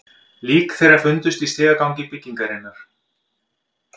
Lík þeirra fundust í stigagangi byggingarinnar